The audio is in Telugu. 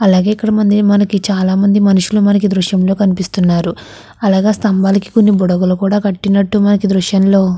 అలాగే ఇక్కడ మనకి చాలామంది మనుషులు మనకి ఈ దృశ్యంలో కనిపిస్తూ ఉన్నారు అలాగే ఆ స్తంభానికి కొన్ని బుడగలు కూడా కట్టినట్టు మనకి ఈ దృశ్యం లో --